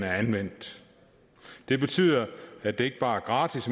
er anvendt det betyder at det ikke bare er gratis